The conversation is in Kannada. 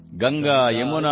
ಕೋಶಿ ಕಮಲಾ ಬಲಾನ್ ಇದೆ